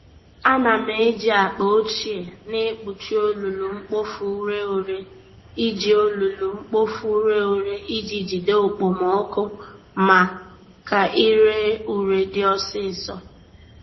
Ana m eji akpa ochie na-ekpuchi olulu-mkpofu-ureghure iji olulu-mkpofu-ureghure iji jide okpomọkụ ma ka ire ure dị ọsịsọ